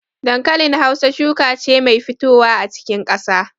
Dankalin Hausa shuka ce mai fitowa a cikin ƙasa.